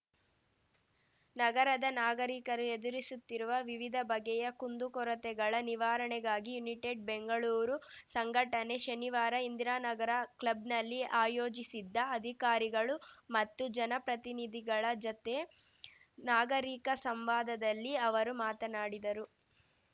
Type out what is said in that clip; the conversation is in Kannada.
ನಗರದ ನಾಗರಿಕರು ಎದುರಿಸುತ್ತಿರುವ ವಿವಿಧ ಬಗೆಯ ಕುಂದುಕೊರತೆಗಳ ನಿವಾರಣೆಗಾಗಿ ಯುನಿಟೆಡ್‌ ಬೆಂಗಳೂರು ಸಂಘಟನೆ ಶನಿವಾರ ಇಂದಿರಾನಗರ ಕ್ಲಬ್‌ನಲ್ಲಿ ಆಯೋಜಿಸಿದ್ದ ಅಧಿಕಾರಿಗಳು ಮತ್ತು ಜನಪ್ರತಿನಿಧಿಗಳ ಜತೆ ನಾಗರಿಕ ಸಂವಾದದಲ್ಲಿ ಅವರು ಮಾತನಾಡಿದರು